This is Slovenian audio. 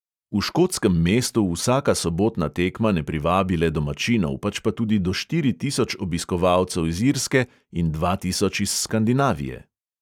V škotskem mestu vsaka sobotna tekma ne privabi le domačinov, pač pa tudi do štiri tisoč obiskovalcev iz irske in dva tisoč iz skandinavije.